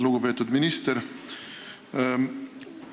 Lugupeetud minister!